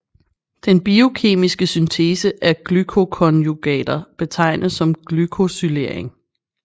Den biokemiske syntese af glycoconjugater betegnes som glycosylering